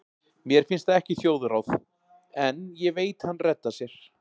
Mér finnst það ekki þjóðráð, en ég veit hann reddar sér.